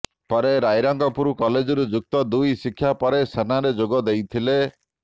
ପରେ ରାଇରଙ୍ଗପୁର କଲେଜରୁ ଯୁକ୍ତ ଦୁଇ ଶିକ୍ଷା ପରେ ସେନାରେ ଯୋଗ ଦେଇଥିଲେ